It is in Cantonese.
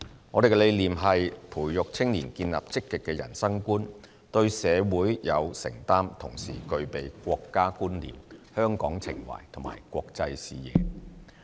我們的理念是培育青年建立積極的人生觀，對社會有承擔，同時具備國家觀念、香港情懷和國際視野。